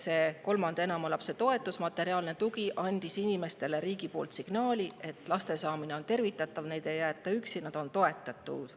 Seega, kolmanda ja enama lapse toetus, materiaalne tugi andis inimestele riigi poolt signaali, et laste saamine on tervitatav ja neid ei jäeta üksi, neid toetatakse.